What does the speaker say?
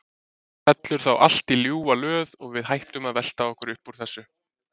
Fellur þá allt í ljúfa löð og við hættum að velta okkur upp úr þessu?